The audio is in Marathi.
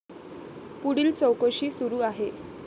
पुढील चौकशी सुरू आहे.